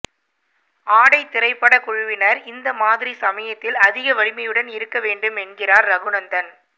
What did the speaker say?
ஆடை திரைப்பட குழுவினர் இந்த மாதிரி சமயத்தில் அதிக வலிமையுடன் இருக்க வேண்டும் என்கிறார் ரகுநந்தன்